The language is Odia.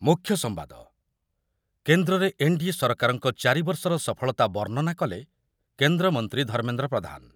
ମୁଖ୍ୟ ସମ୍ବାଦ, କେନ୍ଦ୍ରରେ ଏନ୍‌ଡିଏ ସରକାରଙ୍କ ଚାରିବର୍ଷର ସଫଳତା ବର୍ଣ୍ଣନା କଲେ କେନ୍ଦ୍ରମନ୍ତ୍ରୀ ଧର୍ମେନ୍ଦ୍ର ପ୍ରଧାନ ।